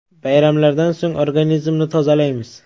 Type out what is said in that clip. Bayramlardan so‘ng organizmni tozalaymiz.